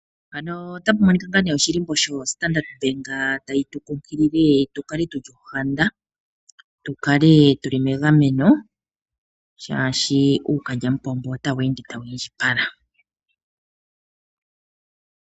Mpano otapu monika ngaa nee oshilimbo sho Standard bank tayi tu nkunkilile tu kale tuli shohanda, tu kale tuli megameno shaashi uukalyamupombo otawu ende tawu indjipala